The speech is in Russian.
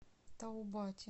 таубате